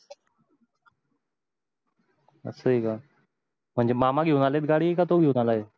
अस आहेत का म्हणजे मामा घेऊन आलेत गाडी का तो घेऊन आला आहे